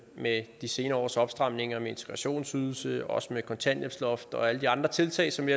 med de senere års opstramninger med integrationsydelse også med kontanthjælpsloft og alle de andre tiltag som vi